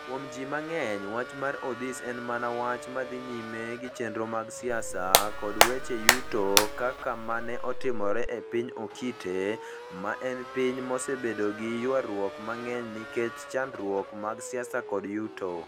Kuom ji mang'eny, wach marOdhis en mana wach ma dhi nyime gi chenro mag siasa kod weche yuto kaka ma ne otimore e piny Okite, ma en piny mosebedo gi ywaruok mang'eny nikech chandruoge mag siasa kod yuto.